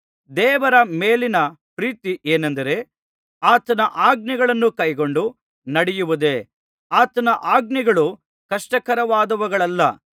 ದೇವರ ಮೇಲಿನ ಪ್ರೀತಿ ಏನೆಂದರೆ ಆತನ ಆಜ್ಞೆಗಳನ್ನು ಕೈಕೊಂಡು ನಡೆಯುವುದೇ ಆತನ ಆಜ್ಞೆಗಳು ಕಷ್ಟಕರವಾದವುಗಳಲ್ಲ